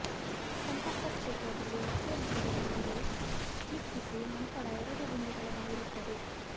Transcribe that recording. ಸಂಪರ್ಕ ಕ್ಷೇತ್ರದಲ್ಲಿ ವ್ಯಕ್ತಿಯ ಹೆಸರಿನ ಮೇಲೆ ಕ್ಲಿಕ್ಕಿಸಿ ನಂತರ ಎರಡು ಗುಂಡಿಗಳನ್ನು ಇರುತ್ತದೆ